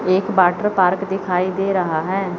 एक water park दिखाई दे रहा है।